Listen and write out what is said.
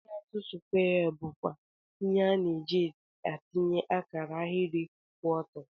Leọut skwee bukwa ihe ana ejide atinye akara ahiri kwụ ọtọ.